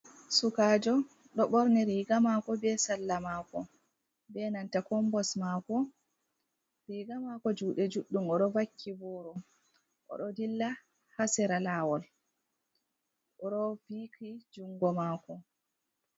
Sukajo do borni riga mako be salla mako be nanta kombos mako riga mako jude juddum oro vaki voro odo dilla hasira lawol roviki jungo mako.